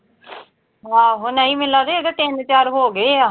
ਆਹੋ, ਨਈਂ ਮੈਨੂੰ ਲਗਦਾ, ਉਹਦੇ ਤਿੰਨ-ਚਾਰ ਹੋਗੇ ਆ।